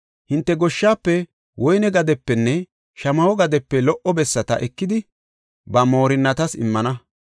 Hinte goshshaafe, woyne gadepenne shamaho gadepe lo77o bessata ekidi, ba moorinnatas immana.